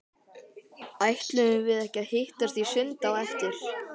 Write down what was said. Ætluðum við ekki að hittast í sundi á eftir?